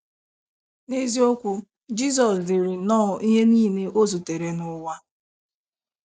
N’eziokwu, Jizọs diri nnọọ ihe niile o zutere n’ụwa.